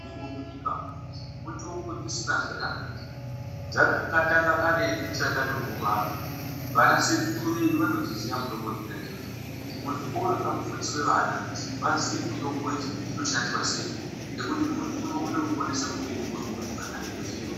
Munyika mitombo dzisina zera idzi dzakatanga karetu tisati tatombobarwa, vana sekuru vedu vanodziziya mitombo dzona idzodzo. Muzvikora ngamufundiswe vana vaziye mitombo idzi kuti dzinoshandiswa sei ngekuti muntu unokona kuponesa mupenyu hwemuntu kana eitoziya